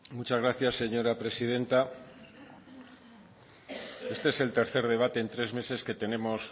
muchas gracias señora presidenta este es el tercer debate en tres meses